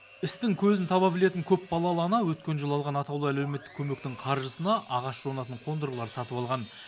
істің көзін таба білетін көпбалалы ана өткен жылы алған атаулы әлеуметтік көмектің қаржысына ағаш жонатын қондырғылар сатып алған